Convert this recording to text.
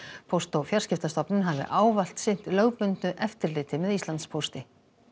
póst og fjarskiptastofnun hafi ávallt sinnt lögbundnu eftirliti með Íslandspósti